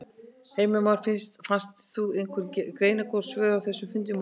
Heimir Már Pétursson: Fannst þér þú fá einhver greinargóð svör á þessum fundi í morgun?